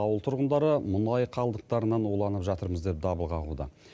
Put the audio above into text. ауыл тұрғындары мұнай қалдықтарынан уланып жатырмыз деп дабыл қағуда